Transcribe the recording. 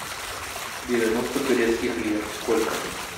девяносто турецких лир сколько